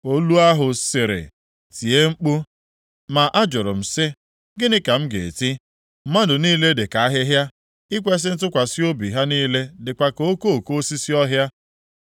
Olu ahụ sịrị, “Tie mkpu!” Ma ajụrụ m sị, “Gịnị ka m ga-eti?” “Mmadụ niile dị ka ahịhịa, ikwesi ntụkwasị obi ha niile dịkwa ka okoko osisi ọhịa.